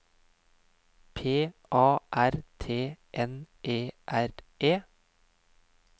P A R T N E R E